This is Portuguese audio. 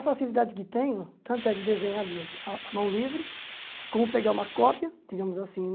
A facilidade que tenho, tanto é de desenhar de a a mão livre, como pegar uma cópia, digamos assim